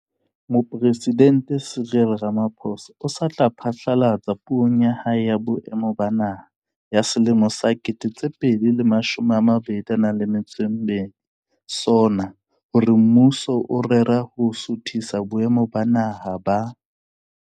Mopresidente Cyril Ramaphosa o sa tswa phatlalatsa Puong ya hae ya Boemo ba Naha ya selemo sa 2022, SoNA, hore mmuso o rera ho suthisa boemo ba Naha ba